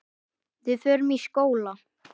Við förum í skóla.